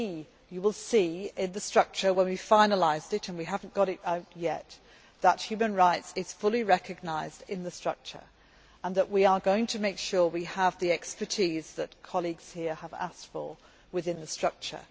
As you will see in the structure when we finalise it, and we have not yet done so human rights will be fully recognised in the structure and we are going to make sure we have the expertise that colleagues here have asked for within the structure.